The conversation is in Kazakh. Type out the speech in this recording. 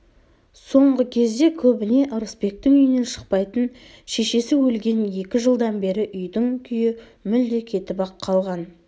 соңғы кезде көбіне ырысбектің үйінен шықпайтын шешесі өлген екі жылдан бері үйдің күйі мүлде кетіп-ақ қалған